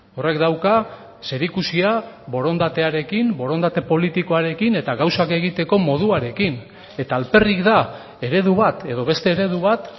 horrek dauka zerikusia borondatearekin borondate politikoarekin eta gauzak egiteko moduarekin eta alperrik da eredu bat edo beste eredu bat